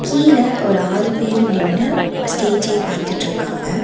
கீழ ஒரு ஆறு பேரு நின்னு ஸ்டேஜே பாத்துட்ருகாங்க.